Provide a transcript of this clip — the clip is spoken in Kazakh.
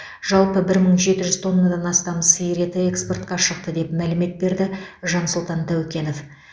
жалпы бір мың жеті жүз тоннадан астам сиыр еті экспортқа шықты деп мәлімет берді жансұлтан тәукенов